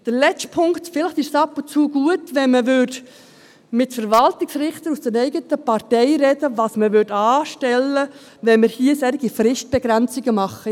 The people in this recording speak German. Der letzte Punkt: Vielleicht wäre es gut, wenn man ab und zu mit Verwaltungsrichtern aus der eigenen Partei darüber spräche, was man anstellt, wenn man hier solche Fristbegrenzungen macht.